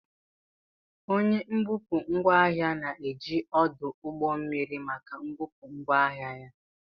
Onye mbupụ ngwaahia na-eji ọdụ ụgbọ mmiri maka mbupụ ngwaahịa ya.